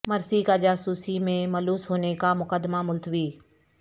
مرسی کا جاسوسی میں ملوث ہونے کا مقدمہ ملتوی